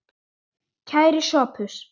Kæri Sophus.